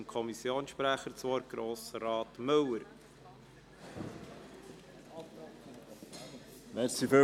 der BaK. Ich gebe dem Kommissionssprecher, Grossrat Müller, das Wort.